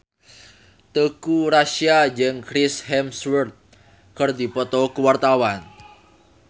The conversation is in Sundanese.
Teuku Rassya jeung Chris Hemsworth keur dipoto ku wartawan